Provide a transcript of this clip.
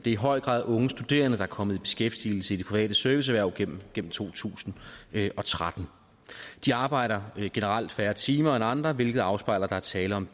i høj grad unge studerende der er kommet i beskæftigelse i de private serviceerhverv gennem to tusind og tretten de arbejder generelt færre timer end andre hvilket afspejler at der er tale om